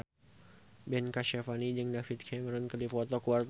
Ben Kasyafani jeung David Cameron keur dipoto ku wartawan